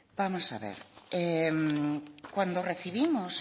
bueno vamos a ver cuando recibimos